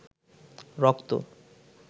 রক্ত